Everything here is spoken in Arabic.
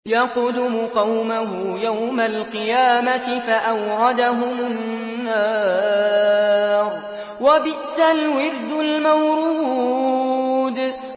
يَقْدُمُ قَوْمَهُ يَوْمَ الْقِيَامَةِ فَأَوْرَدَهُمُ النَّارَ ۖ وَبِئْسَ الْوِرْدُ الْمَوْرُودُ